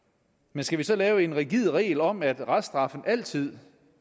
men skal vi så lave en rigid regel om at reststraffen altid